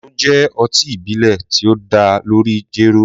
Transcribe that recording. Kunu jẹ́ ọtí ìbílẹ̀ tí ó dá lórí jéró.